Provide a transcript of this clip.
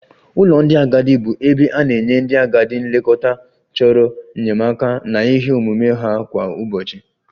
Ụlọ ndị agadi bụ ebe a na-enye ndị agadi nlekọta chọrọ enyemaka na ihe omume ha kwa ụbọchị